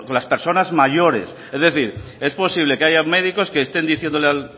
las personas mayores es decir es posible que haya médicos que estén diciéndole